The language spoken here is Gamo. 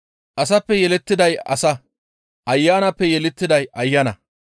Asappe yelettiday asa; Ayanappe yelettiday Ayana.